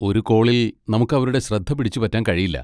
ഒരു കോളിൽ നമുക്ക് അവരുടെ ശ്രദ്ധ പിടിച്ചുപറ്റാൻ കഴിയില്ല.